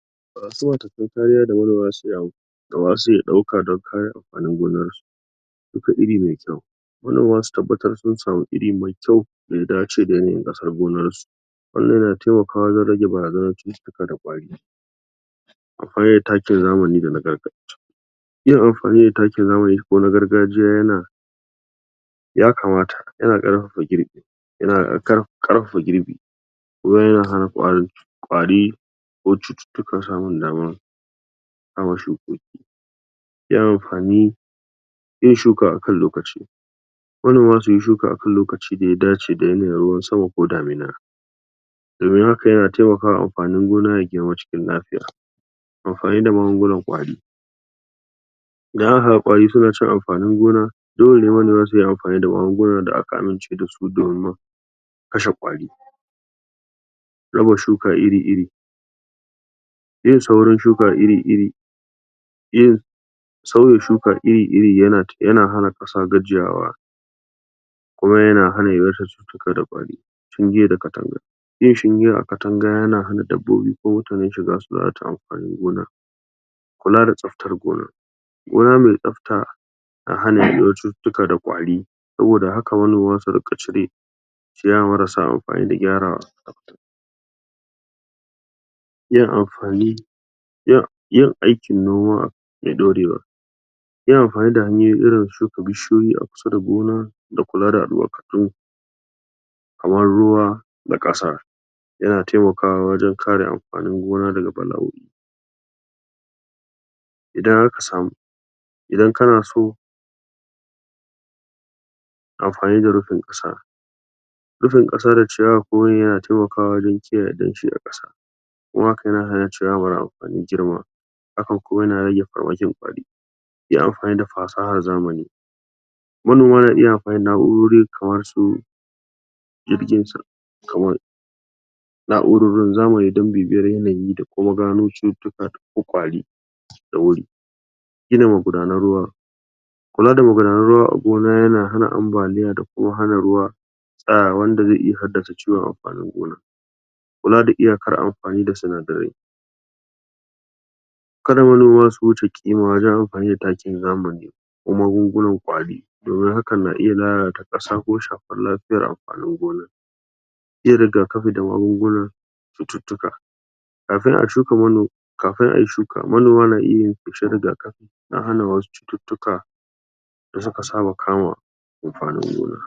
? kariya da manoma za su iya amfani da ba su iya ɗauka dan neman amfanin gonan su shuka iri mai kyau manoma su tabbatar sun samu iri mai kyau da ya dace da irin ƙasar gonar su wannan na taimakawa wajen rage barazanar cututtuka da ƙwari akwai takin zamani da na gargajiya yin amfani da takin zamani ko na gargajiya yana yakamata yana ƙarfafa girbi yana ƙarfafa girbi wurin yin?? ƙwari ko cututtuka samun damuwa?? yi amfani yin shuka a kan lokaci manoma suyi shuka a kan lokaci da a dace a yanayin ruwan sama ko damina domin haka yana taimakawa amfanin gona ya girma cikin kafiya amfani da magungunan ƙwari idan aka ga ƙwari su na cin amfanin gona dole ne manoma su yi amfani da magunguna da aka amince da su kashe ƙwari raba shuka iri iri yin saurin shuka iri iri iri sauya shuka iri iri yana hana ƙasa gajiyawa kuma yana hana yawaitar cika da ƙwari shinge da katanga feshi a katanga yana hana dabbobi da mutane su lalata amfanin gona kula da tsaftar gona gona mai tsafta ta hana yaɗuwar cutuutuka da ƙwari saboda haka manoma su riƙa cire ciyawa marasa amfani da gyarawa yin amfani yin aikin noma mai ɗorewa yi amfani da hanyoyi irin su shuka bishiyoyi a kusa da gona da kula da albarkatu kamar ruwa da ƙasa yana taimakawa wajen kare amfanin gona daga bala'o'i idan aka samu idan kana so amfani da rufin ƙasa rufin ƙasa da ciyawa yana taimakawa wajen kiyaye danshi a ƙasa kuma a haka yana hana ciyawa mara amfani girma hakan kuma yana rage farmakin ƙwari yi amfani da fasahar zamani manoma na iya amfani da na'urori kamar su jirgin? na'urorin zamani don bibiyar yanayi da kuma gano cututtuka don ƙwari da wuri gina magudanan ruwa kula da magudanan ruwa a gona yana hana ambaliya da kuma hana ruwa tsayawa wanda zai iya haddasa ciwon amfanin gona kula da iyakar amfani da sinadarai ka da manoma su wuce ƙima wajen amfani da takin zamani ko magungunan ƙwari domin hakan na iya lalata ƙasa ko shafar lafiyan amfanin gona yin rigakafi da magunguna cututtuka kafin a shuka manomi kafin a yi shuka manoma na iya yin feshin rigakafi don hana wasu cututtuka da suka saba kama amfanin gona